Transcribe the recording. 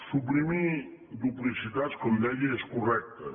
suprimir duplicitats com deia és correcte